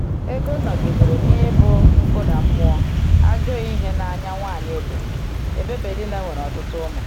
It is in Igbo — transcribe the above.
Égó nọgidere n’ibu nkụda mmụọ, ajọ ihe n’anya nwaanyị Ebonyi, ebe Pèninnà nwere ọtụtụ ụmụ.